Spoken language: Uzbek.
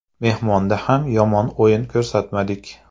Mehmonda ham yomon o‘yin ko‘rsatmadik.